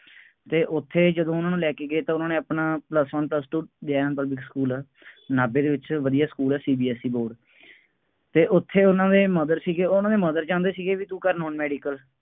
ਅਤੇ ਉੱਥੇ ਜਦੋਂ ਉਹਨੂੰ ਲੈ ਕੇ ਗਏ ਤਾਂ ਉਹਨਾ ਨੇ ਆਪਣਾ plus one plus two Jain public school ਨਾਭੇ ਦੇ ਵਿੱਚ ਵਧੀਆਂ ਸਕੂਲ ਹੈ, CBSE board ਅਤੇ ਉੱਥੇ ਉਹਨਾ ਦੇ mother ਸੀਗੇ, ਉਹਨਾ ਦੇ mother ਚਾਹੁੰਦੇ ਸੀਗੇ ਬਈ ਤੂੰ ਕਰ ਹੁਣ ਮੈਡੀਕਲ